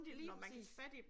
Lige præcis